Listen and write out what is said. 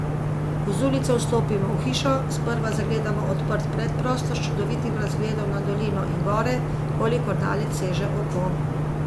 Ko z ulice vstopimo v hišo, sprva zagledamo odprt predprostor s čudovitim razgledom na dolino in gore, kolikor daleč seže oko.